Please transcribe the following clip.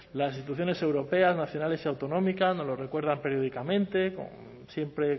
las instituciones europeas nacionales y autonómicas nos lo recuerdan periódicamente siempre